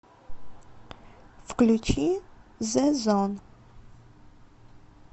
включи зэ зон